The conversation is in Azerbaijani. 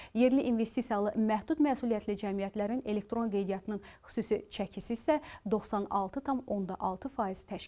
Yerli investisiyalı məhdud məsuliyyətli cəmiyyətlərin elektron qeydiyyatının xüsusi çəkisi isə 96,6 faiz təşkil edib.